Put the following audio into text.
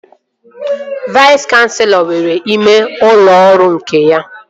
Vais kanselọ nwere ime ụlọ ọrụ nke ya